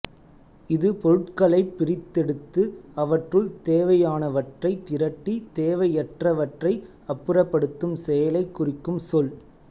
இது பொருட்களைப் பிரித்தெடுத்து அவற்றுள் தேவையானவற்றைத் திரட்டி தேவையற்றவற்றை அப்புறப்படுத்தும் செயலைக் குறிக்கும் சொல்